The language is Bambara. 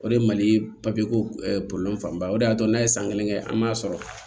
O de ye mali papiye ko fanba ye o de y'a to n'a ye san kelen kɛ an m'a sɔrɔ